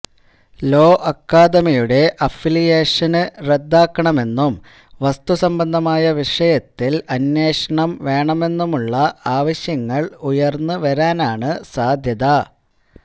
law അക്കാദമിയുടെ അഫിലിയേഷന് റദ്ദാക്കണമെന്നും വസ്തു സംബന്ധമായ വിഷയത്തില് അന്വേഷണം വേണമെന്നുമുള്ള ആവശ്യങ്ങള് ഉയര്ന്ന് വരാനാണ് സാധ്യത